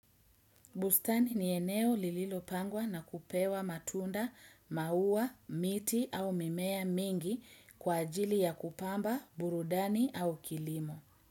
Bustani ni eneo lililopangwa na kupewa matunda, mauwa, miti au mimea mingi kwa ajili ya kupamba, burudani au kilimo.